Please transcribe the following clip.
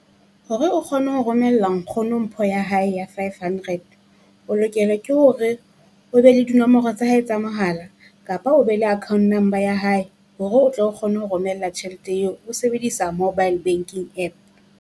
Hore o kgone ho romella nkgono mpho ya hae ya five hundred, o lokelwe ke hore o be le dinomoro tsa hae tsa mohala, kapa o be le account number ya hae. Hore o tlo o kgone ho romela tjhelete eo, o sebedisa mobile banking App.